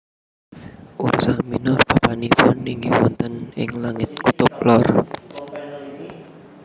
Ursa minor papanipun inggih wonten ing langit kutub lor